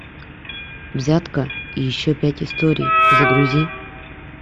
взятка и еще пять историй загрузи